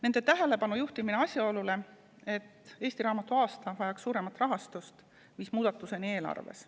Nende tähelepanujuhtimine asjaolule, et eesti raamatu aasta vajaks suuremat rahastust, viis muudatuseni eelarves.